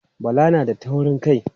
Bala na da taurin kai.